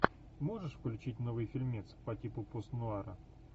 можешь включить новый фильмец по типу постнуара